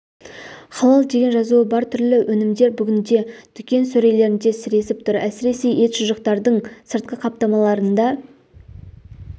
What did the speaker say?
халал деген жазуы бар түрлі өнімдер бүгінде дүкен сөрелерінде сіресіп тұр әсіресе ет шұжықтардың сыртқы қаптамаларында